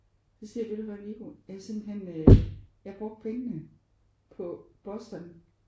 Så siger jeg: Ved du hvad Viggo jeg har simpelthen jeg har brugt pengene på Boston